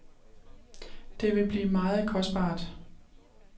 Det vil blive meget kostbart.